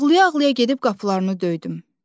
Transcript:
Ağlaya-ağlaya gedib qapılarını döydüm.